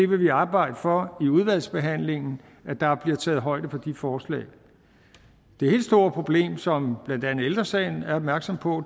vil arbejde for i udvalgsbehandlingen at der bliver taget højde for de forslag det helt store problem som blandt andet ældre sagen er opmærksom på